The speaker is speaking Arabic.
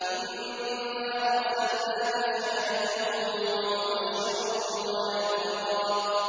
إِنَّا أَرْسَلْنَاكَ شَاهِدًا وَمُبَشِّرًا وَنَذِيرًا